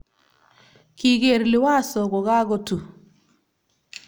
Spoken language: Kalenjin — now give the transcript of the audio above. Kiker Liwazo kokakotu